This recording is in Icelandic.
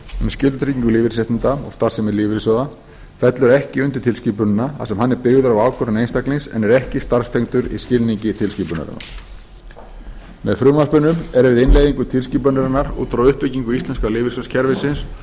um skyldutryggingu lífeyrisréttinda og starfsemi lífeyrissjóða fellur ekki undir tilskipunina þar sem hann er byggður á ákvörðun einstaklings en er ekki starfstengdur í skilningi tilskipunarinnar með frumvarpinu er við innleiðingu tilskipunarinnar út frá uppbyggingu íslenska lífeyrissjóðakerfisins